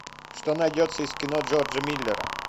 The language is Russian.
что найдется из кино джорджа миллера